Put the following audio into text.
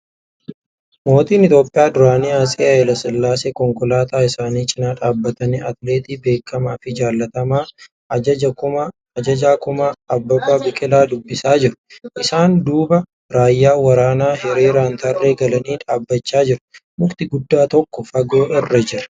Mootiin Itiyoophiyaa duraanii atsee Hayila Sillaaseen konkolaataa isaanii cinaa dhaabbatanii atileetii beekamaa fi jaallatamaa ajajaa kumaa Abbabaa Biqilaa dubbisaa jiru. Isaan duuba raayyaan waraanaa hiriiraan tarree galanii dhaabbachaa jiru. Mukti guddaa tokko fagoo irra jira.